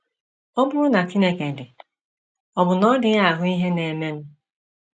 Ọ bụrụ na Chineke dị, ọ̀ bụ na ọ dịghị ahụ ihe na - emenụ? ’